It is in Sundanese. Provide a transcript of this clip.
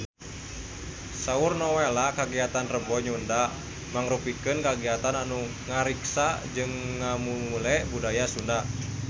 Saur Nowela kagiatan Rebo Nyunda mangrupikeun kagiatan anu ngariksa jeung ngamumule budaya Sunda